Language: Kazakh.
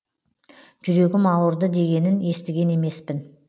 жүрегім ауырды дегенін естіген емеспін